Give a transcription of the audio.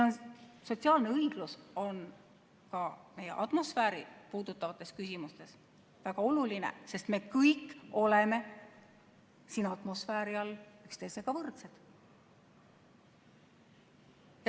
Sotsiaalne õiglus on ka atmosfääri puudutavates küsimustes väga oluline, sest me kõik oleme siin atmosfääri all üksteisega võrdsed.